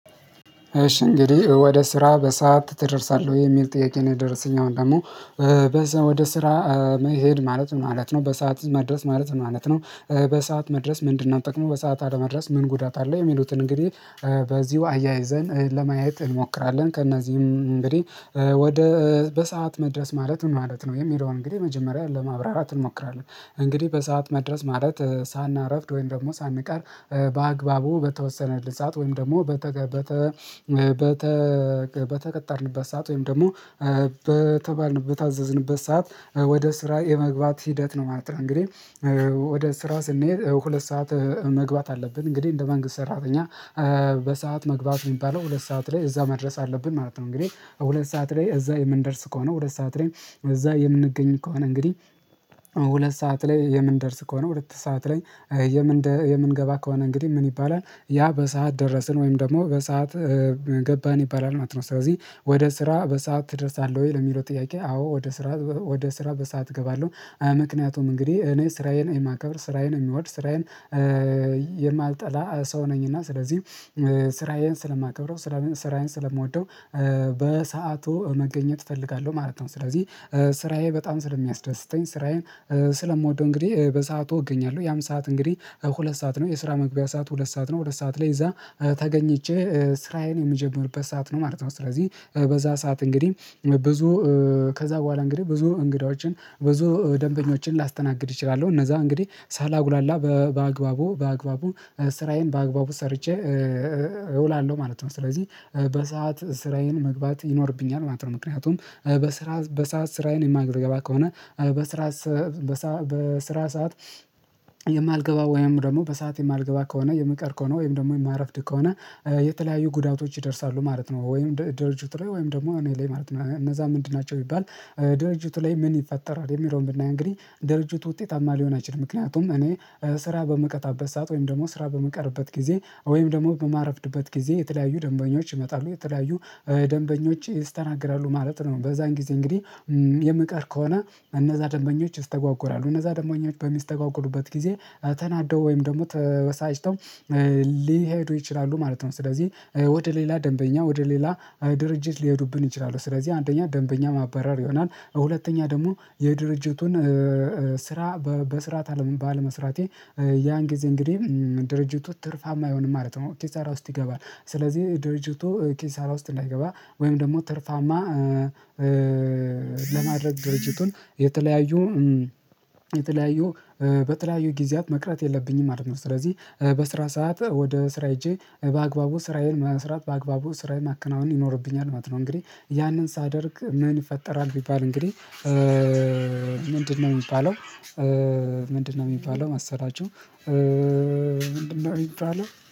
እሺ እንግዲህ ወደ ስራ በሰአት ትደርሳለህ ወይ የሚል ጥያቄ ነው የደረሰኝ አሁን ደግሞ በዛ ወደ ስራ መሄድ ማለት ምን ማለት ነው በሰአት መድረስ ማለት ምን ማለት ነው በሰአት መድረስ ምንድነው? ጥቅሙ በሰአት አለመድረስ ምን ጉዳት አለ? የሚሉትን እንግዲህ በዚሁ አያይዘን ለማየት እንሞክራለን ከእነዚህም እንግዲህ ወደ በሰአት መድረስ ማለት ምን ማለት ነው የሚለውን እንግዲህ መጀመሪያ ለማብራራት እንሞክራለን እንግዲህ በሰአት መድረስ ማለት ሳናረፍድ ወይም ደግሞ ሳንቀር በአግባቡ በተወሰነልን ሰዓት ወይም ደግሞ በተቀጠርንበት ሰዓት ወይም ደግሞ በተባልንበት በታዘዝንበት ሰዓት ወደ ስራ የመግባት ሂደት ነው ማለት ነው። እንግዲህ ወደ ስራ ስንሄድ ሁለት ሰዓት መግባት አለብን እንግዲህ እንደ መንግስት ሰራተኛ በሰአት መግባት የሚባለው ሁለት ሰዓት ላይ እዛ መድረስ አለብን ማለት ነው እንግዲህ ሁለት ሰዓት ላይ እዛ የምንደርስ ከሆነ ሁለት ሰዓት ላይ እዛ የምንገኝ ከሆነ እንግዲህ ሁለት ሰዓት ላይ የምንደርስ ከሆነ ሁለት ሰዓት ላይ የምንገባ ከሆነ እንግዲህ ምን ይባላል ያ በሰአት ደረስን ወይም ደግሞ በሰአት ገባን ይባላል ማለት ነው። ስለዚህ ወደ ስራ በሰአት ትደርሳለህ ወይ ለሚለው ጥያቄ አዎ ወደ ስራ ወደ ስራ በሰአት እገባለሁ። አይ ምክንያቱም እንግዲህ እኔ ስራዬን የማከብር ስራዬን የምወድ ስራዬን የማልጠላ ሰው ነኝና ስለዚህ ስራዬን ስለማከብረው ስራዬን ስለምወደው በሰአቱ መገኘት እፈልጋለሁ ማለት ነው። ስለዚህ ስራዬ በጣም ስለሚያስደስተኝ ስራዬን ስለምወደው እንግዲህ በሰአቱ እገኛለሁ ያም ሰዓት እንግዲህ ሁለት ሰዓት ነው የስራ መግቢያ ሰዓት ሁለት ሰዓት ነው ሁለት ሰዓት ላይ እዛ ተገኝቼ ስራዬን የምጀምርበት ሰዓት ነው ማለት ነው። ስለዚህ በዛ ሰዓት እንግዲህ ብዙ ከዛ በኋላ እንግዲህ ብዙ እንግዳዎችን ብዙ ደንበኞችን ላስተናግድ እችላለሁ እነዛ እንግዲህ ሳላጉላላ በአግባቡ በአግባቡ ስራዬን በአግባቡ ሰርቼ እውላለሁ ማለት ነው። ስለዚህ በሰአት ስራዬን መግባት ይኖርብኛል ማለት ነው ምክንያቱም በስራ በሰአት ስራዬን የማልገባ ከሆነ በስራ በሰአት በስራ ሰዓት የማልገባ ወይም ደግሞ በሰአት የማልገባ ከሆነ የምቀር ከሆነ ወይም ደግሞ የማረፍድ ከሆነ የተለያዩ ጉዳቶች ይደርሳሉ ማለት ነው። ወይም ድርጅቱ ላይ ወይም ደግሞ እኔ ላይ ማለት ነው እነዛ ምንድን ናቸው ቢባል እውላለሁ ማለት ነው። ስለዚህ በሰአት ስራዬን መግባት ይኖርብኛል ማለት ነው ምክንያቱም በስራ በሰአት ስራዬን የማልገባ ከሆነ በስራ በሰአት በሰራ ሰዓት የማልገባ ወይም ደግሞ በሰአት የማልገባ ከሆነ የምቀር ከሆነ ወይም ደግሞ የማረፍድ ከሆነ ደንበኞች ይስተናገዳሉ ማለት ነው። በዛን ጊዜ እንግዲህ የምቀር ከሆነ እነዛ ደንበኞች ይስተጓጎላሉ እነዛ ደንበኞች በሚስተጓጎሉበት ጊዜ ተናደው ወይም ደግሞ ተበሳጭተው ሊሄዱ ይችላሉ ማለት ነው። ስለዚህ ወደ ሌላ ደንበኛ ወደ ሌላ ድርጅት ሊሄዱብን ይችላሉ ስለዚህ አንደኛ ደንበኛ ማባረር ይሆናል ሁለተኛ ደግሞ የድርጅቱን ስራ በስራት አለም ባለመስራቴ ያን ጊዜ እንግዲህ ድርጅቱ ትርፋማ አይሆንም ማለት ነው። ኪሳራ ውስጥ ይገባል ስለዚህ ድርጅቱ ኪሳራ ውስጥ እንዳይገባ ወይም ደግሞ ትርፋማ ለማድረግ ድርጅቱን የተለያዩ የተለያዩ በተለያዩ ጊዜያት መቅረት የለብኝም ማለት ነው። ስለዚህ በስራ ሰዓት ወደ ስራ ሄጄ በአግባቡ ስራዬን መስራት በአግባቡ ስራዬን ማከናወን ይኖርብኛል ማለት ነው። እንግዲህ ያንን ሳደርግ ምን ይፈጠራል? ቢባል እንግዲህ ምንድነው የሚባለው? ምንድነው የሚባለው ማሰላቹው ምንድነው የሚባለው